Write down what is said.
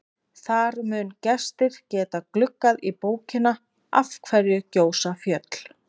Þar munu gestir geta gluggað í bókina Af hverju gjósa fjöll?